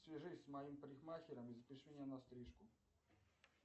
свяжись с моим парикмахером и запиши меня на стрижку